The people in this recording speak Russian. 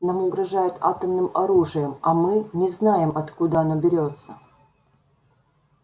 нам угрожают атомным оружием а мы не знаем откуда оно берётся